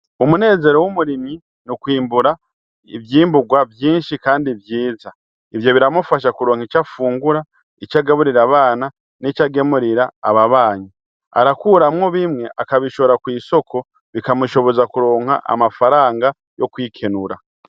Umunezero w' umurimyi ni kwimbura ivyimbugwa vyinshi kandi vyiza ivyo biramufasha kuronka ico afungura ico agaburira abana nico agemurira ababanyi arakuramwo bimwe akabishora kw' isoko bikamushoboza kuronka amafaranga yo kwikenura.